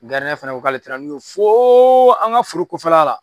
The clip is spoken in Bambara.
fɛnɛ ko k'ale taara n'u ye foooo an ka foro kɔfɛla la.